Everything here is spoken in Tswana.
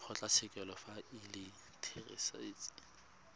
kgotlatshekelo fa e le therasete